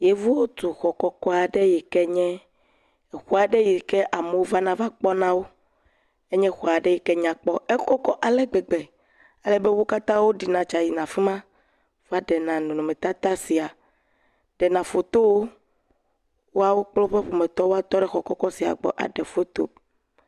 dzotsi dɔwɔla ɖewo le dzo aɖe tsim le dziƒoxɔ aɖe ŋti dzudzɔ le tutum le xɔ sia ŋuti eye dzotsi dɔwɔlaɖewo hã tɔɖe afima